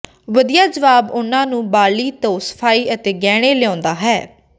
ਵਧੀਆ ਜਵਾਬ ਉਨ੍ਹਾਂ ਨੂੰ ਬਾਲੀ ਤੋਂ ਸਫਾਈ ਅਤੇ ਗਹਿਣੇ ਲਿਆਉਂਦਾ ਹੈ